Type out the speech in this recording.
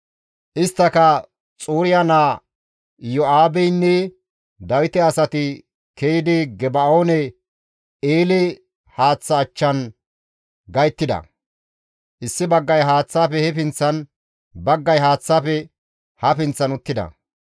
Isttaka Xuriya naa Iyo7aabeynne Dawite asati ke7idi Geba7oone eele haaththa achchan gayttida. Issi baggay haaththaafe he pinththan, baggay haaththaafe ha pinththan uttida.